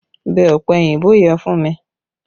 Bẹ ọ̀pẹ òyìnbó yẹn fún mi!